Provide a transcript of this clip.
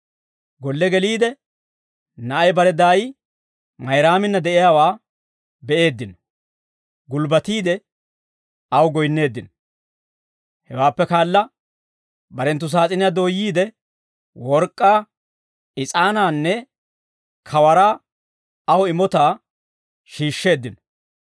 Golle geliide, na'ay bare daay Mayraaminna de'iyaawaa be'eeddino; gulbbatiide aw goyinneeddino; hewaappe kaala, barenttu saas'iniyaa dooyyiide, work'k'aa, is'aanaanne kawaraa aw imotaa shiishsheeddino.